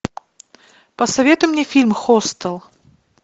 посоветуй мне фильм хостел